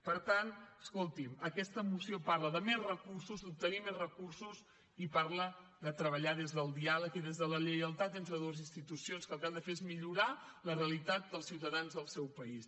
per tant escolti’m aquesta moció parla de més recursos d’obtenir més recursos i parla de treballar des del diàleg i des de la lleialtat entre dues institucions que el que han de fer és millorar la realitat dels ciutadans del seu país